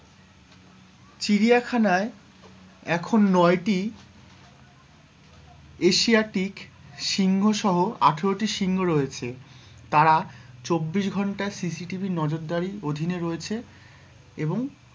চিড়িয়াখানায় এখন নয়টি এশিয়াটিক সিংহ সহ আঠারোটি সিংহ রয়েছে, তারা চব্বিশ ঘন্টা CCTV নজর দারি অধীনে রয়েছে এবং,